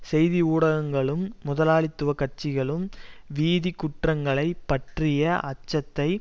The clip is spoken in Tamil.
செய்தி ஊடகங்களும் முதலாளித்துவ கட்சிகளும் வீதிக் குற்றங்களை பற்றிய அச்சத்தை